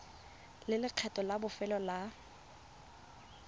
le lekgetho la bofelo la